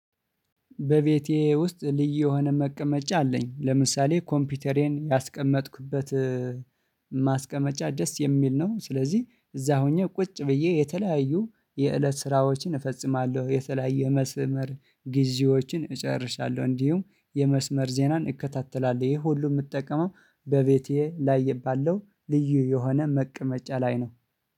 በቤቴ ውስጥ ልዩ የሆነ መቀመጫ አለኝ። ለምሳሌ፦ ኮምፒውተሬን ያስቀመጥኩበት፣ እ ማስቀመጫ ደስ የምል ነው። ስለዚህ፣ እዛ ሆኜ ቁጭ ብዬ የተለያዩ የለት ስራዎችን እፈጽማለሁ። የተለያየ መስመር ጊዜዎችን እጨርሳለሁ። እንዲሁም የመስመር ዜናን እከታተላለሁ። ይሄ ሁሉ የምጠቀመው በቤቴ ላይ ባለው ልዩ የሆነ መቀመጫ ላይ ነው።